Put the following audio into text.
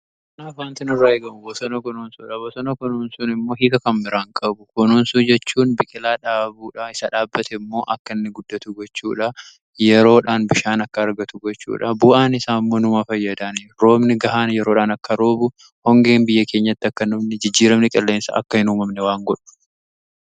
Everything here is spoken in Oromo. Wanti nurraa eegamu bosona kunuunsuudha. Boosona kunuunsuun immoo hiika kan biraa hin qabu. Kunuunsuu jechuun biqilaa dhaabuudhaa, isa dhaabbate immoo akka inni guddatu gochuudha. Yeroodhaan bishaan akka argatu gochuudha. Bu'aan isaanmmoo numa fayyadaa. Roobni gahaan yeroodhaan akka roobu hoongeen biyya keenyatti akka hin uumamne, jijjiiramni qilleensa akka hin uumamne waan godhuf.